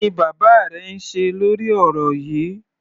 Kí ni bàbá rẹ ń ṣe lórí ọ̀rọ̀ yíì?